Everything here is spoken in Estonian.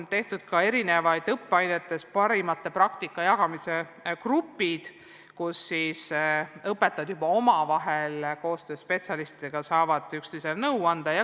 Eri õppeainete raames on moodustatud parima praktika jagamise gruppe, kus õpetajad omavahel ja koostöös spetsialistidega saavad üksteisele nõu anda.